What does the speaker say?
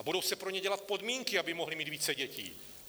A budou se pro ně dělat podmínky, aby mohli mít více dětí.